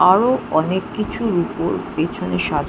আরো অনেক কিছুর উপর পেছনে সাজা--